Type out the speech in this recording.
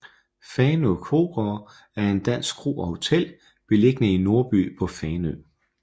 Fanø Krogaard er en dansk kro og hotel beliggende i Nordby på Fanø